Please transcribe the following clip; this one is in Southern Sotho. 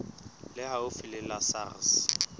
le haufi le la sars